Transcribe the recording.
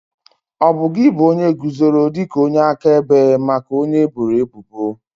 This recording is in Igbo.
Ọbụ gi bụ onye guzoro dị ka onye akaebe maka onye eboro ebubo?